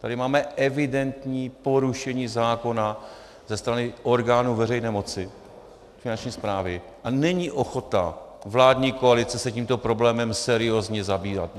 Tady máme evidentní porušení zákona ze strany orgánů veřejné moci, Finanční správy, a není ochota vládní koalice se tímto problémem seriózně zabývat.